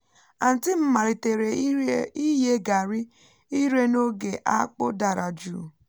aunty m malitere ịye garri ire n’oge akpụ dara jụụ